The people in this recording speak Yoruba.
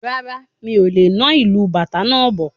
Rárá, mí o le na ìlu bàtá náà bọ̀